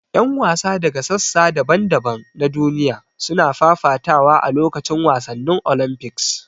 Yan wasa daga sassa daban-daban na duniya suna fafatawa a lokacin wasannin Olympics.